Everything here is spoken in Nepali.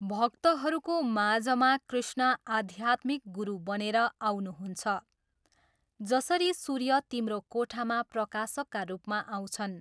भक्तहरूको माझमा कृष्ण आध्यात्मिक गुरु बनेर आउनुहुन्छ, जसरी सूर्य तिम्रो कोठामा प्रकाशका रूपमा आउँछन्।